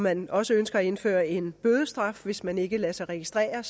at man også ønsker at indføre en bødestraf hvis man ikke lader sig registrere